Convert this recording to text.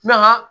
Mɛ an ka